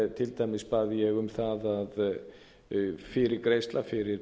til dæmis bað ég um það að fyrirgreiðsla fyrir